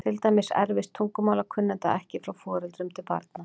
Til dæmis erfist tungumálakunnátta ekki frá foreldrum til barna.